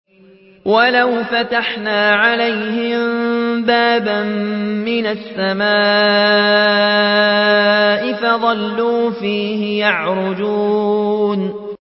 وَلَوْ فَتَحْنَا عَلَيْهِم بَابًا مِّنَ السَّمَاءِ فَظَلُّوا فِيهِ يَعْرُجُونَ